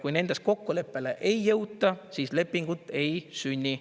Kui nendes kokkuleppele ei jõuta, siis lepingut ei sünni.